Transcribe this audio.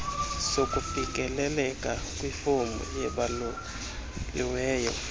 sokufikeleleka kwifomu ebaluliweyo